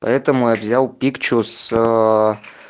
поэтому я взял пикчус аа